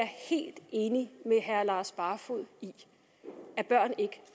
helt enig med herre lars barfoed i det børn